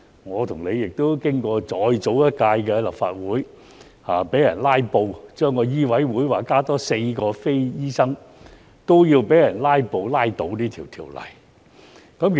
我和你亦經歷過早幾年的立法會被人"拉布"，而醫委會增加額外4名非醫生委員的法案，亦被人"拉布"拉倒。